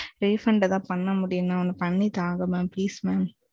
தயவு செய்து refund எதாவது பண்ண முடியும் mam. பண்ணி தாங்க mam please mam.